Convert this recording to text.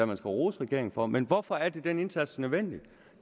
man skal rose regeringen for men hvorfor er den indsats nødvendig